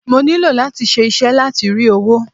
Mo nílò láti ṣe iṣẹ́ láti rí owó.